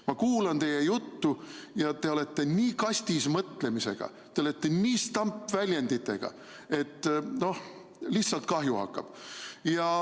Ma kuulan teie juttu ja te olete nii kastis-mõtlemisega, te olete stampväljenditega, et lihtsalt kahju hakkab.